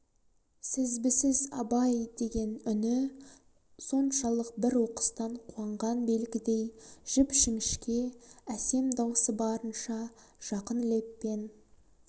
сізбісіз абай деген үні соншалық бір оқыстан қуанған белгідей жіп-жіңішке әсем даусы барынша жақын леппен